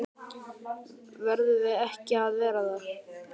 Verðum við ekki að vera það?